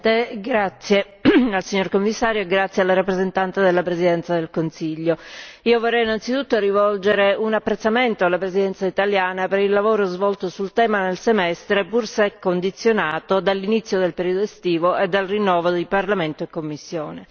Signora Presidente, onorevoli colleghi, signora Commissario, rappresentante della Presidenza del Consiglio, io vorrei innanzitutto rivolgere un apprezzamento alla Presidenza italiana per il lavoro svolto sul tema nel semestre, pur se condizionato dall'inizio del periodo estivo e dal rinnovo di Parlamento e Commissione.